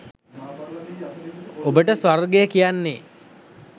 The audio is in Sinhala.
ඔබට ස්වර්ගය කියන්නේ